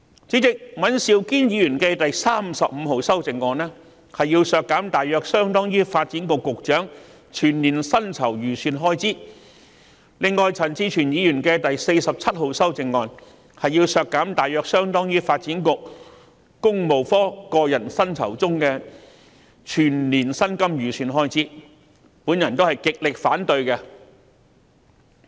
主席，尹兆堅議員提出第35號修正案，要求削減大約相當於發展局局長全年薪酬預算開支，而陳志全議員提出第47號修正案，要求削減大約相當於發展局個人薪酬中的全年薪金預算開支，我都極力反對。